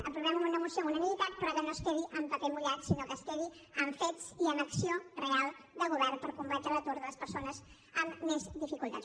aprovem una moció amb unanimitat però que no es quedi en paper mullat sinó que es quedi en fets i en acció real de govern per combatre l’atur de les persones amb més dificultats